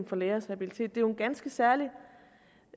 for lægers habilitet vi med en ganske særlig